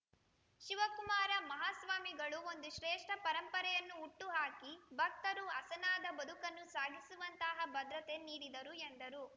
ಶಿವಕುಮಾರ ಮಹಾಸ್ವಾಮಿಗಳು ಒಂದು ಶ್ರೇಷ್ಠ ಪರಂಪರೆಯನ್ನು ಹುಟ್ಟುಹಾಕಿ ಭಕ್ತರು ಹಸನಾದ ಬದುಕನ್ನು ಸಾಗಿಸುವಂತಹ ಭದ್ರತೆ ನೀಡಿದರು ಎಂದರು